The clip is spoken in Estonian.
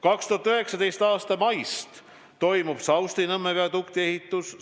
2019. aasta maist toimub Saustinõmme viadukti ehitus.